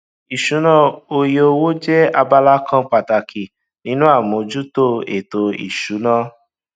ìṣúná oye owó jẹ abala kan pàtàkì nínú àmójútó ètò ìsúná